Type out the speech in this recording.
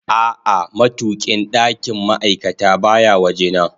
A'a, matukin ɗakin ma'aikata baya waje na